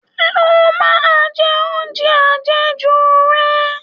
Lọ máa jẹ oúnjẹ àjẹjù rẹ